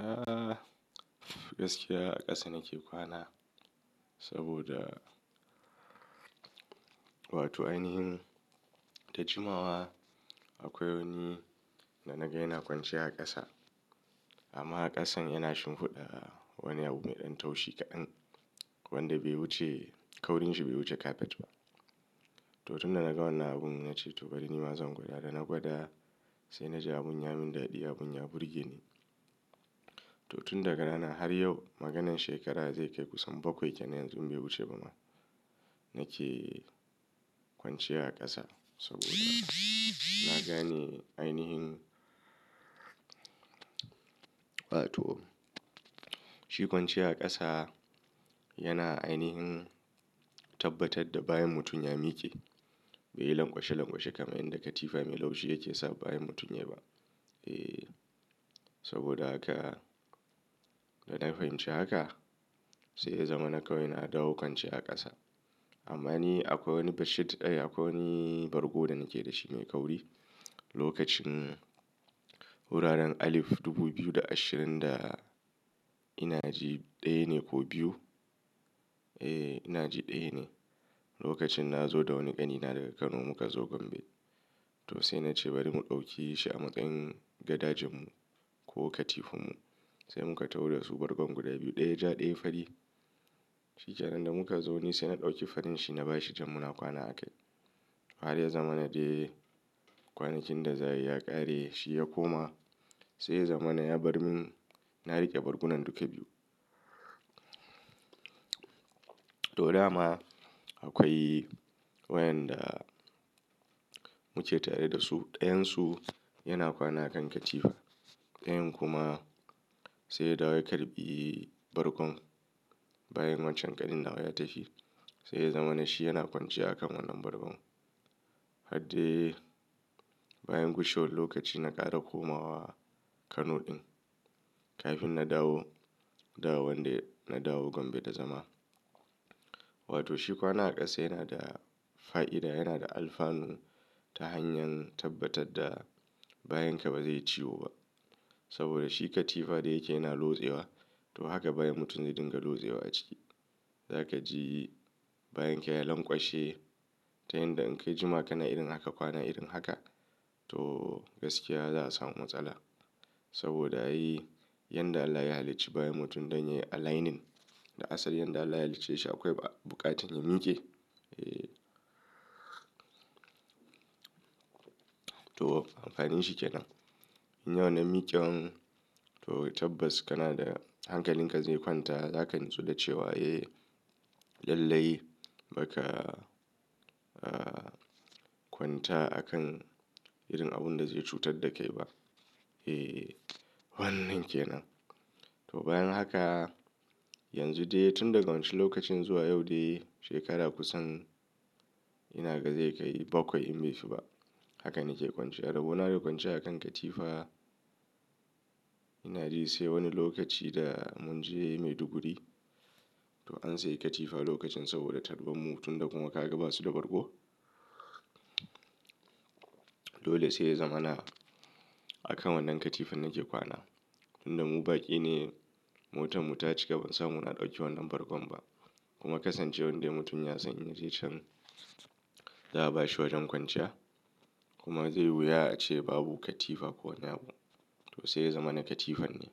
Eh, gaskiya a ƙasa nake kwana saboda wato ainihin da jimawa, akwai wani da naga yana kwanciya a ƙasa, amma a ƙasan yana shinfuɗa wani abu mai ɗan taushi kaɗan, wanda bai wuce, kaurin shi bai wuce kafet ba. Toh, tun da naga wannan abun na ce to bari nima zan gwada, na gwada sai na ji abun ya min daɗi, abun ya burge ni. Toh, tun daga ranan har yau maganan shekara zai kai kusan bakwai kenan yanzu in bai wuce ba ma, nake kwanciya a ƙasa, saboda na gane ainihin wato shi kwanciya a ƙasa, yana ainihin tabbatar da bayan mutum ya miƙe bai yi lamƙwashe-lamƙwashe, kamar inda katifa mai laushi yake sa bayan mutum ya yi ba. Eh, saboda haka, da na fahimci haka sai ya zama na kawai na dawo kwanciya a ƙasa. Amma ni akwai wani bashit, eh, akwai wani bargo da nake da shi mai kauri. Lokacin, wuraren alif dubu biyu da ashirin da ina ji, ɗaya ne ko biyu? Eh ina ji ɗaya ne. Lokacin na zo da wani ƙanina daga Kano muka zo Gombe, toh sai na ce bari mu ɗauki shi a matsayin gadajen mu, ko katifan mu sai muka taho da su bargon guda biyu ɗaya ja ɗaya fari. Shi ƙanan da muka zo ni sai na ɗauki farin shi na bashi jam muna kwana a kai. Har ya zama na dai kwanakin da za su yi ya ƙare shi ya koma sai ya zama na ya bar min na riƙe bargunan duka biyu. To dama, akwai wayanda muke tare da su, ɗayan su yana kwana a kan katifa, ɗayan kuma sai dawo ya karɓi bargon, bayan wancan ƙanin nawa ya tafi sai ya zama na shi yana kwanciya a kan wannan bargon. Har dai bayan gushewar lokaci na ƙara komawa, Kano ɗin kafin na dawo, da wanda na dawo Gombe da zama. Wato shi kwana a ƙasa yana da, fa'ida yana da alfanu ta hanyar, tabbatar da bayan ka ba zai ciwo ba saboda shi katifa da yake yana losewa, toh haka bayan mutum zai dinga losewa a ciki. Za ka ji bayan ka ya lanƙwashe ta yanda in ka yi jima ka na irin haka kwana irin haka, toh gaskiya za'a samu matsala, saboda ai yanda Allah ya halicci bayan mutum dan ya yi aligning, da asalin yanda Allah ya halicce shi akwai buƙatar ya miƙe. Eh, toh amfanin shi kenan. Yi wannan miƙewan, toh tabbas kana da, hankalin ka zai kwanta, za ka nitsu da cewa eh, lallai ba ka kwanta a kan, irin abun da zai cutar da kai ba. Eh wannan kenan. Toh bayan haka, yanzu dai tun daga wancan lokacin zuwa yau dai shekarar kusan, ina ga zai kai bakwai in bai fi ba, haka nake kwanciya. Rabo na da kwanciya a kan katifa, ina ji sai wani lokaci da mun je maiduguri, toh an sayi katifa lokacin saboda karban mu, tun da kuma ka ga ba su da bargo dole sai ya zama na, a kan wannan katifan nake kwana. Tun da mu baƙi ne, motan mu ta cika ban san muna ɗauki wannan bargo ba kuma kasan cewar dai mutum ya san indai can za a bashi wajen kwanciya kuma zai wuya a ce babu katifa ko wane abu to sai ya zama na katifan ne.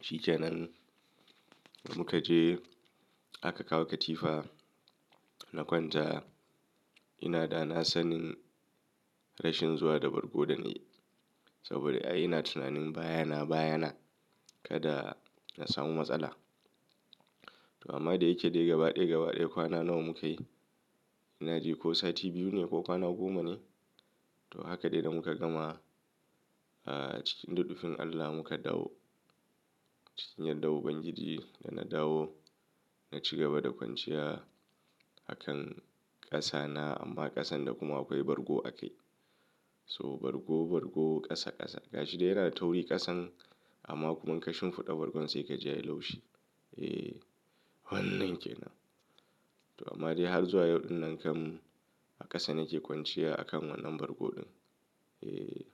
Shi ƙanan da muka je aka kawo katifa na kwanta ina da na sanin rashin zuwa da bargo da na yi, saboda ai ina tunanin baya na baya na, kada na samu matsala. To amma, da yake dai gaba ɗaya, gaba ɗaya kwana nawa muka yi, ina ji ko sati biyu ne ko kwana goma ne, toh haka dai da muka gama, ah, cikin rufin Allah muka dawo cikin yardan ubangiji da na dawo, na ci gaba da kwanciya, a kan ƙasa na amma, ƙasan da kuma akwai bargo a kai. Toh, bargo-bargo, ƙasa-ƙasa gashi dai yana da tauri ƙasan amma kuma in ka shinfuɗa bargon sai ka ja yi laushi. Eh wannan kenan. Toh, amma dai har zuwa yauɗin nan kam a ƙasa nake kwanciya a kan wannan bargo ɗin. Eh.